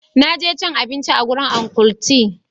Na je cin abinci a gurin Uncle tee.